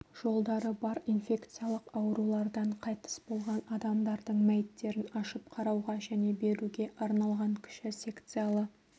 жолдары бар инфекциялық аурулардан қайтыс болған адамдардың мәйіттерін ашып қарауға және беруге арналған кіші секциялы